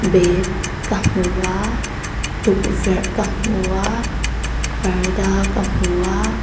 bag ka hmu a tulverh ka hmu a parda ka hmu a.